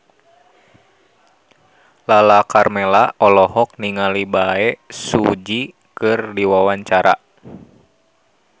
Lala Karmela olohok ningali Bae Su Ji keur diwawancara